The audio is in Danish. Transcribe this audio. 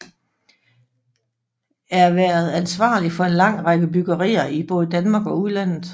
Er været ansvarlig for en lang række byggerier i både Danmark og udlandet